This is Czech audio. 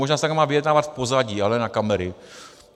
Možná se takto dá vyjednávat v pozadí, ale na kamery.